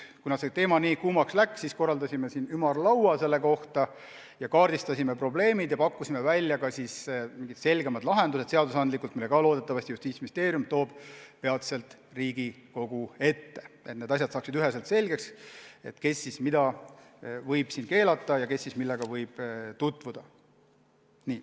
Kuna see teema läks kuumaks, korraldasime sel teemal ümarlaua, kaardistasime probleemid ja pakkusime välja selgemad seadusandlikud lahendused, mille Justiitsministeerium loodetavasti toob peatselt Riigikogu ette, et saaks üheselt selgeks, kes mida võib keelata ja kes millega võib tutvuda.